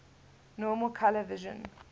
normal color vision